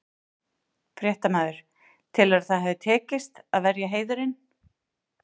Fréttamaður: Telurðu að það hafi tekist, að verja heiðurinn?